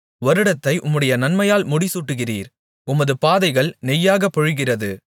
வருடத்தை உம்முடைய நன்மையால் முடிசூட்டுகிறீர் உமது பாதைகள் நெய்யாகப் பொழிகிறது